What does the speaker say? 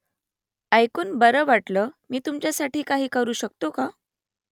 ऐकून बरं वाटलं मी तुमच्यासाठी काही करू शकतो का ?